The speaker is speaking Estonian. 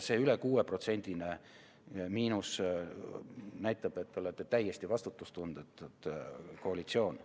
See üle 6%‑line miinus näitab, et te olete täiesti vastutustundetu koalitsioon.